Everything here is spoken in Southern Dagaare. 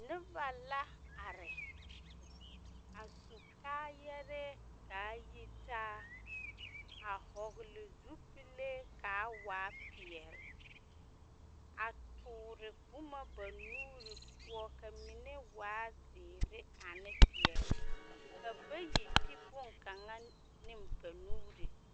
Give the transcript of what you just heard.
Noba la are. A su kaayɛrɛɛ kaa yitaa, a hɔgle zupilee kaa waa peɛl. A toore boma ba nuuri poɔ ka mine waa zeere ane peɛl. Ka bayi ti boŋkaŋa ne ba nuure.